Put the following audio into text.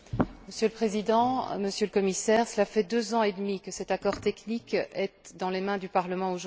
Monsieur le Président, Monsieur le Commissaire, cela fait deux ans et demi que cet accord technique est dans les mains du Parlement.